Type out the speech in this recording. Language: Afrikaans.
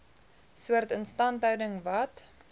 soort instandhouding wat